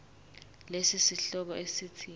lesi sihloko esithi